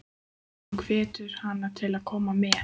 Hann hvetur hana til að koma með.